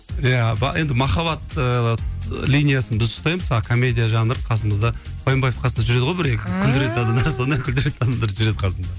иә енді махаббат ыыы линиясын біз ұстаймыз а комедия жанр қасымызда қоянбаевтың қасында жүреді ғой бір екі күлдіретін адамдар сондай күлдіретін адамдар жүреді қасымда